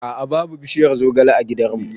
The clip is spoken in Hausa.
A'a' babu bishiyar zogale a gidan mu